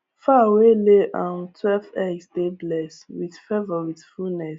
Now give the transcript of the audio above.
fowl wey lay um twelve egg dey bless with favour with fullness